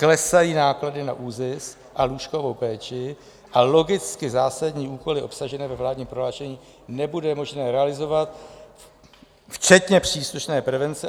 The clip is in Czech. Klesají náklady na ÚZIS a lůžkovou péči, a logicky zásadní úkoly obsažené ve vládním prohlášení nebude možné realizovat včetně příslušné prevence.